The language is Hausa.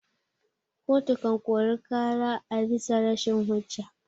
Koto kan kori ƙara abisa rashin hujja.